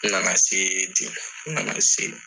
N nana se ten . N nana se.